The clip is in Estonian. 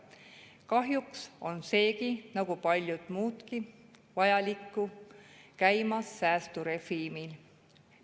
Kahjuks on seegi nagu palju muudki vajalikku käimas säästurežiimil.